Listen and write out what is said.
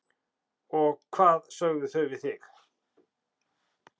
Og hvað sögðu þau við þig?